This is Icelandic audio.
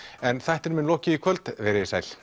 en þættinum er lokið í kvöld veriði sæl